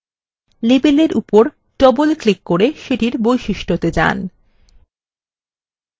label উপর double click করে সেটির বৈশিষ্ট্যতে যান